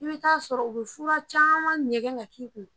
I bɛ t'a sɔrɔ u bɛ fura caman ɲɛgɛn ka d'i ma